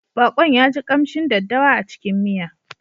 Baƙon ya ji ƙamshin daddawa a cikin miya.